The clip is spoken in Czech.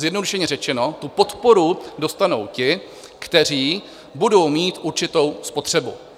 Zjednodušeně řečeno, tu podporu dostanou ti, kteří budou mít určitou spotřebu.